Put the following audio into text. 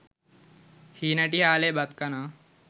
හීනටි හාලේ බත් කනවා.